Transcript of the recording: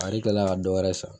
A ni tila ka dɔwɛrɛ san